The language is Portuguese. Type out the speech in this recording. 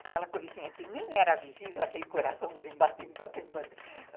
Aquela coisinha que nem era visível, aquele coraçãozinho, batendo, batendo, batendo.